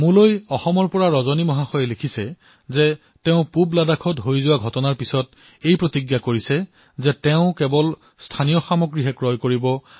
মোলৈ অসমৰ ৰজনীয়ে লিখিছে তেওঁ পূব লাডাখত সংঘটিত হোৱা ঘটনা প্ৰত্যক্ষ কৰাৰ পিছত এক প্ৰতিজ্ঞা লৈছে যে তেওঁ সদায়েই স্থানীয় সামগ্ৰীহে ক্ৰয় কৰিব